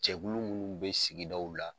Cɛlu munnu be sigidaw la